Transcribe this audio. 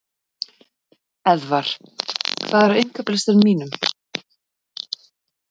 Eðvar, hvað er á innkaupalistanum mínum?